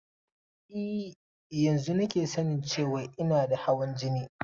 E, yanzun nake sanin cewan ina da hawan jini.